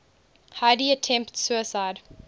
heidi attempts suicide